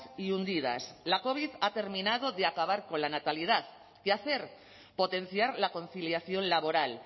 y hundidas la covid ha terminado de acabar con la natalidad qué hacer potenciar la conciliación laboral